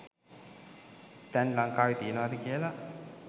තැන් ලංකාවෙ තියනවද කියලා.